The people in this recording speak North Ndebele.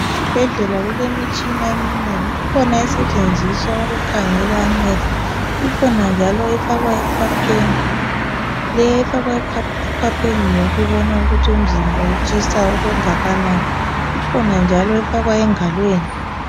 Esibhedlela kulemitshina eminengi kukhona esetshenziswa ukukhangela amehlo ikhona njalo efakwa ekhwapheni le efakwa ekhwapheni ngeyokubona ukuthi umzimba utshisa okungakanani ikhona njalo efakwa engalweni